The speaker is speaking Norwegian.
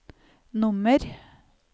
nummer